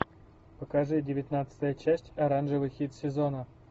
покажи девятнадцатая часть оранжевый хит сезона